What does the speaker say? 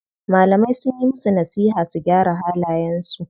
Malamai sunyi musu nasiha su gyara halayen su.